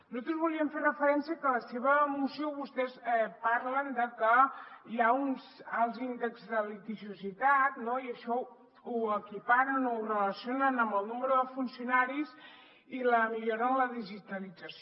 nosaltres volíem fer referència a que en la seva moció vostès parlen de que hi ha uns alts índexs de litigiositat i això ho equiparen o ho relacionen amb el nombre de funcionaris i la millora en la digitalització